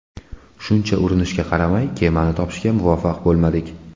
Shuncha urinishga qaramay, kemani topishga muvaffaq bo‘lmadik.